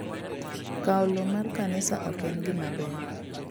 Kwao lowo mar kanisa ok en gima maber.